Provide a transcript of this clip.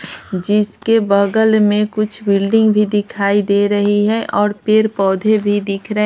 जिसके बगल में कुछ बिल्डिंग भी दिखाई दे रही है और पेड़ पौधे भी दिख रहे हैं।